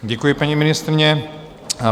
Děkuji, paní ministryně.